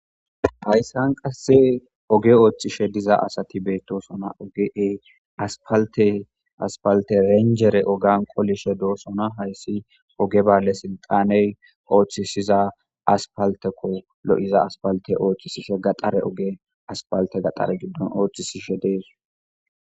hayssan qasse oge ooththishe diza asati beettosona ogeey aspalte aspalte renjere ogan qolishe doosona hayssi oge balle silxaney ooththisiza aspalteko lo7iza aspalte oochchisishe gaxare oge aspalte gaxare giddon ooththisishe dees.